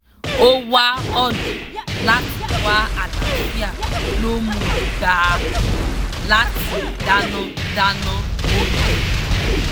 ó wá ọ̀nà láti wá àlàáfíà ló múu gbà láti dáná dáná óúnjẹ